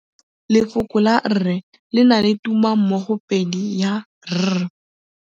Lefoko la rre le na le tumammogôpedi ya, r.